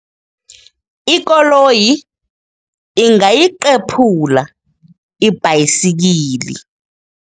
Ikoloyi ingayiqephula ibhayisikili.